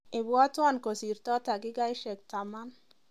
Ibwatwon kosirto dakikaishek taman